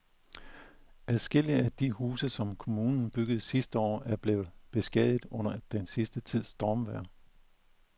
Adskillige af de huse, som kommunen byggede sidste år, er blevet beskadiget under den sidste tids stormvejr.